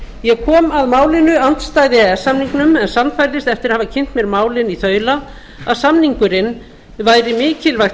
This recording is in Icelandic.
ég kom að málinu andstæð e e s samningnum en sannfærðist eftir að hafa kynnt mér málin í þaula að samningurinn væri mikilvægt